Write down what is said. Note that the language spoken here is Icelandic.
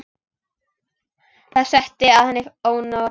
Það setti að henni ónot.